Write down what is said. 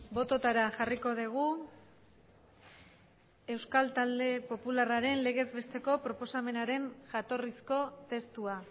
bototara jarriko dugu euskal talde popularraren legez besteko proposamenaren jatorrizko testua